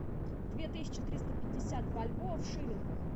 две тысячи триста пятьдесят бальбоа в шиллингах